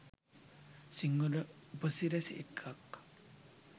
සිංහල උප සිරැසි එක්ක